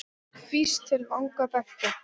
Hvísl til vanga beggja?